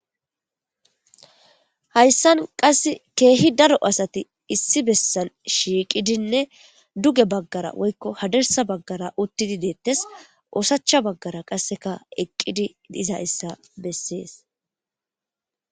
hayssan qass keehi daro asati issi bessan shiiqidinne duge baggara woykko hadersa baggara uttidi deettes oosacha baggara qasseka eqqidi diza issa bessees